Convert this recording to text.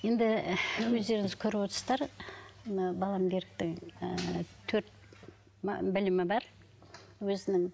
енді өздеріңіз көріп отырсыздар мына балам беріктің ыыы төрт білімі бар өзінің